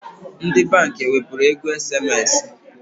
Ndi bank ewepuru ego SMS?